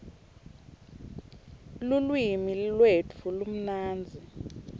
lulwimi lwetfu lumnandzi